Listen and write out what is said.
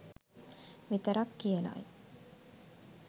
විතරක් කියලයි.